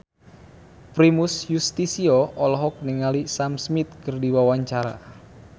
Primus Yustisio olohok ningali Sam Smith keur diwawancara